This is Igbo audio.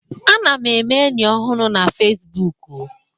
Ana m eme enyi ọhụrụ na Facibụkụ